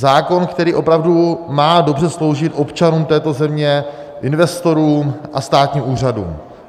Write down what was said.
Zákon, který opravdu má dobře sloužit občanům této země, investorům a státním úřadům.